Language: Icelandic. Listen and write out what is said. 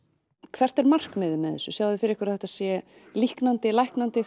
hvert er markmiðið með þessu sjáið þið fyrir ykkur að þetta sé líknandi læknandi